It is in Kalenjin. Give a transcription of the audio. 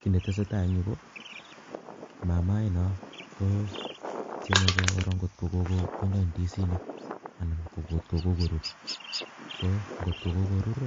Kit netesetai en yuh ko mamainon, ko time ngot ko koruur indisinik, ko angot kokorur